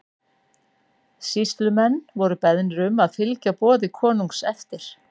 Sýslumenn voru beðnir um að fylgja boði konungs eftir.